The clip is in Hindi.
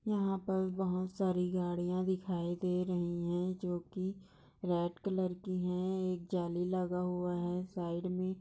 यहाँ पर बहुत सारी गड़िया दिखाई दे रही है जो की रेड कलर की है एक जाली लगा हुआ हैं साइड मे।